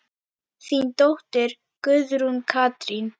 Þín dóttir, Guðrún Katrín.